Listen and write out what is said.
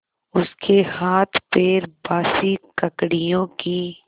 उसके हाथपैर बासी ककड़ियों की